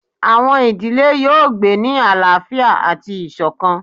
Awọn idile yoo gbe ni alaafia ati isokan